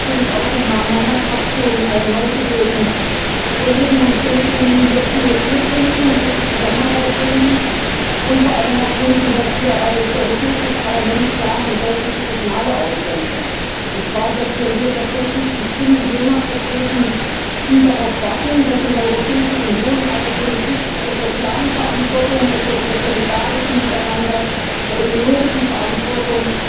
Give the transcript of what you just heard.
Ich möchte natürlich auch im Namen meiner Fraktion allen neu gewählten Kollegen und Kolleginnen hier viel Glück und gute Zusammenarbeit wünschen, und vor allem auch wünschen, dass wir als Europäisches Parlament klare und deutliche Signale aussenden, und zwar, dass wir hier tatsächlich die Stimme jener vertreten, die darauf warten, dass in der Europäischen Union eine Politik der sozialen Verantwortung, des solidarischen Miteinanders, der ökologischen Verantwortung